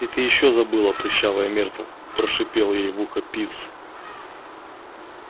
и ты ещё забыла прыщавая миртл прошипел ей в ухо пивз